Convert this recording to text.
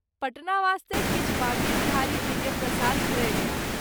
पटना वास्ते किछु बाँके विहारी जी के प्रसाद क्रय कएल।